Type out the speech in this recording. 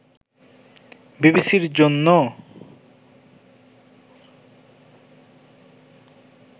বিবিসি’র জন্য